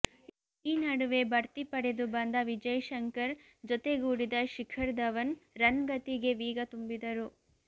ಈ ನಡುವೆ ಬಡ್ತಿ ಪಡೆದು ಬಂದ ವಿಜಯ್ ಶಂಕರ್ ಜತೆಗೂಡಿದ ಶಿಖರ್ ಧವನ್ ರನ್ ಗತಿಗೆ ವೇಗ ತುಂಬಿದರು